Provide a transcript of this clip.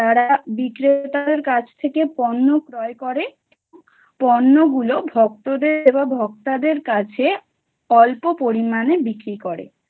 বিক্রেতার কাছ থেকে পণ্য ক্রয় করে। পণ্যগুলো ভক্তদের বা ভক্তাদের কাছে অল্প পরিমাণে বিক্রি করেন।